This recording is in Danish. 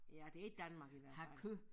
Ja det ikke Danmark i hvert fald